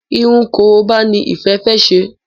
Irun koroba ní Ìfẹ fè ṣe.